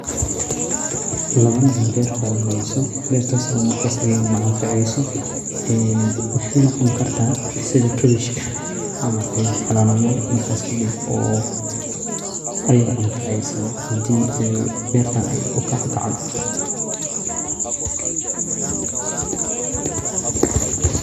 Lawa nin oo beer falaneyso beertas oo markas iyagana anfaceyso waxey noqon karta sidha kabeshka cama ayae falanayiin markas kadib oo ayaga anfaceysa hadii uu bertan ukacdo.